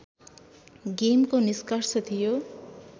गेमको निष्कर्ष थियो